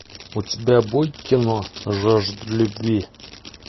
у тебя будет кино жажда любви